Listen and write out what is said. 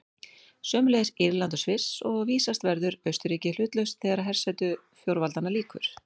Sömuleiðis Írland og Sviss, og vísast verður Austurríki hlutlaust þegar hersetu fjórveldanna lýkur.